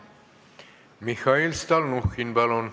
Mihhail Stalnuhhin, palun!